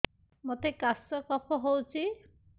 ମୋତେ କାଶ କଫ ହଉଚି